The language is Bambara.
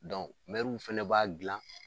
Dɔn mɛruw fɛnɛ b'a gilan